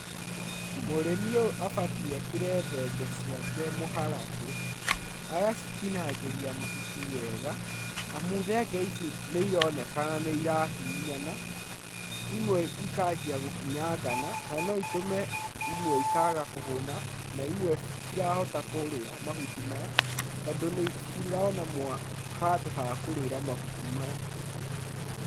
Mũrĩmi ũyũ abatiĩ akĩre thenge ciake mũharatĩ, agacitinangĩria mahuti wega amu thenge ici nĩ ironekana nĩ irahihinyana, imwe ikanjia gũkinyangana na no itũme imwe ikaga kũhũna na imwe citirahota kũrĩa mahuti maya tondũ citirona handũ ha kũrĩra mahuti maya.